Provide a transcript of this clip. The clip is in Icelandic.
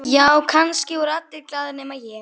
Já, kannski voru allir glaðir nema ég.